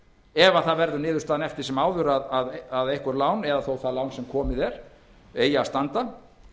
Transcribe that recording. ef það verður niðurstaðan eftir sem áður að einhver lán eða þó það lán sem komið er eigi að standa